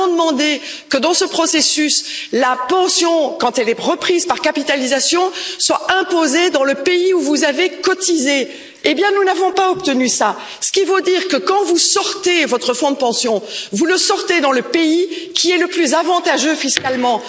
Or, nous avons demandé que, dans ce processus, la pension, quand elle est reprise par capitalisation, soit imposée dans le pays où vous avez cotisé, chose que nous n'avons pas obtenue. Dès lors, quand vous sortez votre fonds de pension, vous le faites dans le pays qui est le plus avantageux fiscalement.